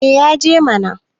eh ya je mana